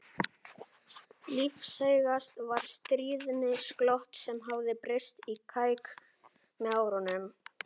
Lífseigast var stríðnisglottið sem hafði breyst í kæk með árunum.